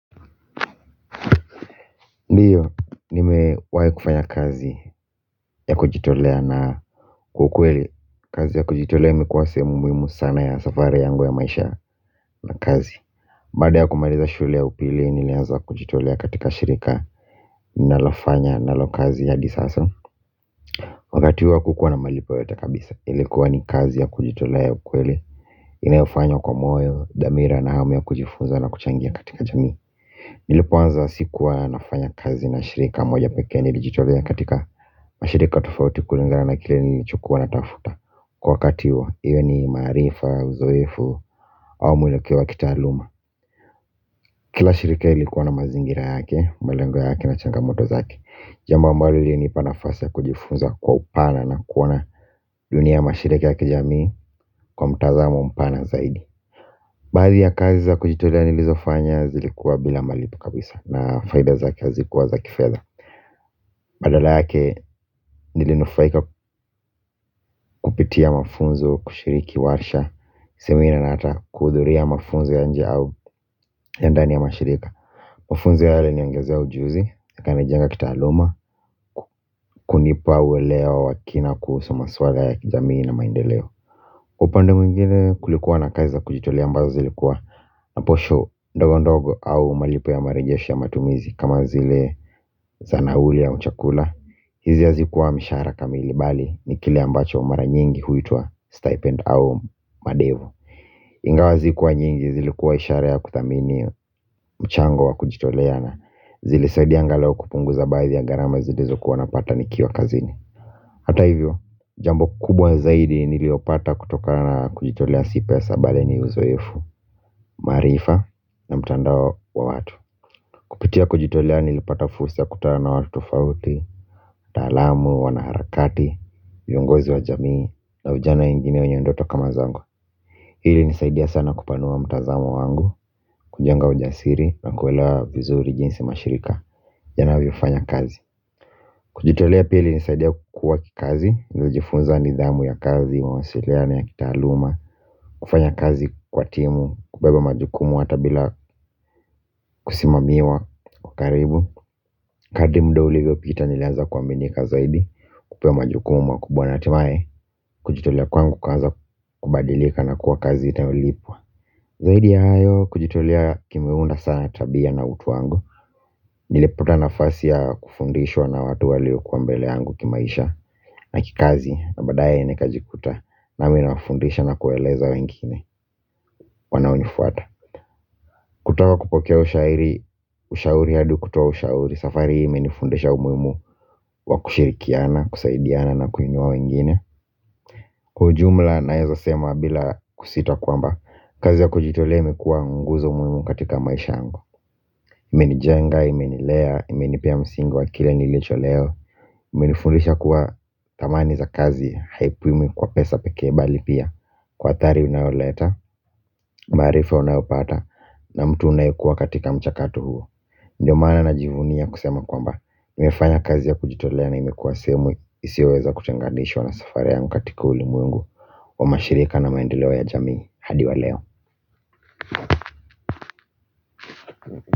Ndiyo nimewahi kufanya kazi ya kujitolea na kwakweli kazi ya kujitolea imekuwa sehemu muhimu sana ya safari yangu ya maisha na kazi baada ya kumaliza shule ya upili nilianza kujitolea katika shirika ninalo fanya nalo kazi hadi sasa wakati huo kukuwa na malipo yote kabisa ilikuwa ni kazi ya kujitolea ya kukweli inayofanywa kwa moyo dhamira na hamu ya kujifunza na kuchangia katika jamii nilipoanza sikuwa nafanya kazi na shirika moja pekee nilijitolea katika mashirika tofauti kulingana kile nilichokua natafuta kwa wakati huo iwe ni maaarifa uzoefu au muelekeo wa kitaaluma kila shirika ilikuwa na mazingira yake, malengo yake na changamoto zake jambo ambalo ilinipa nafasi ya kujifunza kwa upana na kuona dunia ya mashirika ya kijamii kwa mtazamo mpana zaidi. Baadhi ya kazi za kujitolea nilizo fanya zilikuwa bila malipo kabisa na faida zake hazikuwa za kifedha. Badala yake nilinufaika kupitia mafunzo kushiriki warsha semina na ata kuhudhuri ya mafunzo ya nje au ya ndani ya mashirika. Mafunzo ya hali huniongezea ujuzi na kunijenga kitaaaluma kunipa uwelewa wa wakina kuhusu maswala ya kijamii na maendeleo upande mwingine kulikuwa na kazi za kujitolea ambazo zilikuwa na posho ndogo ndogo au malipo ya marejeshi ya matumizi kama zile za nahui ya chakula. Hizi hazikuwa mshara kamili bali ni kile ambacho mara nyingi huitua stipend au madevu. Ingawa hazikuwa nyingi zilikuwa ishara ya kuthamini mchango wa kujitolea na zili saidia angalau kupunguza baadhi ya gharama zilizokuwa napata nikiwa kazini. Hata hivyo jambo kubwa zaidi nililopata kutokana kujitolea si pesa bal ni uzoefu maarifa na mtandao wa watu kupitia kujitolea nilipata fursa ya kukutana na watu tofauti wataalamu, wana harakati viongozi wa jamii na vijana wengine wanye ndoto kama zangu. Hii hunisaidia sana kupanua mtazamo wangu kujenga ujasiri na kuelewa vizuri jinsi mashirika yanavyo fanya kazi. Kujitolea pili ilinisaidia kukua kikazi. Niilijifunza nidhamu ya kazi mawasiliano ya kitaaaluma kufanya kazi kwa timu kubeba majukumu hata bila kusimamiwa. Kwa karibu, kadri muda ulivyo pita nilianza kuaminika zaidi. Kupewaa majukumu makubwa na hatimae kujitolea kwangu kukaanza kubadilika na kuwa kazi inayolipwa. Zaidi ya hayo kujitolea kimeunda sana tabia na utu wangu. Nilipata nafasi ya kufundishwa na watu walikua mbele wangu kimaisha na kikazi, na baadae nikajikuta nami nafundisha na kueleza wengine, wanaonifuata. Kutoka kupokea ushairi, ushauri hadi kutoa ushauri. Safari hii imenifundesha umuimu wa kushirikiana, kusaidiana na kuinua wengine. Kwa ujumla naweza sema bila kusita kwamba kazi ya kujitolea imekuwa nguzo muhimu katika maisha yangu imenijenga, imenilea, imenipia msingi wa kile nilicho leo imenifundisha kuwa thamani za kazi haipimwi kwa pesa pekee bali pia kwa athari inayoleta, maarifa unayopata na mtu unaekuwa katika mchakato huo. Ndiyo maana na jivunia kusema kwamba Mi hufanya kazi ya kujitolea na imekuwa sehemu isioweza kutenganishwa na safari yangu katika ulimwengu wa mashirika na maendeleo ya jamii hadi wa leo.